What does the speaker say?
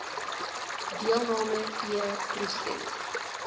deelnam e proses